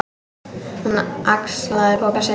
Hún axlaði poka sinn.